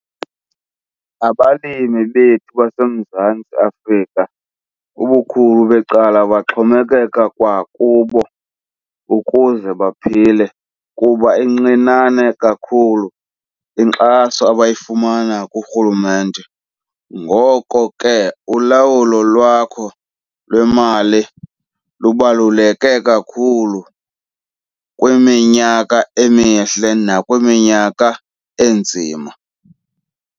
Abalimi bethu baseMzantsi Afrika ubukhulu becala baxhomekeke kwakubo ukuze baphile kuba incinane kakhulu inkxaso abayifumana kurhulumente. Ngoko ke, ulawulo lwakho lwemali lubaluleke kakhulu kwiminyaka emihle nakwiminyaka enzima.